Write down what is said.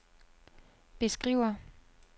beskriver